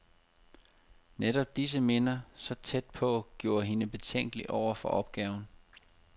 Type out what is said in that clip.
Netop disse minder, så tæt på, gjorde hende betænkelig over for opgaven.